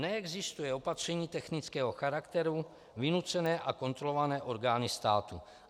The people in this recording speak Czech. Neexistuje opatření technického charakteru vynucené a kontrolované orgány státu.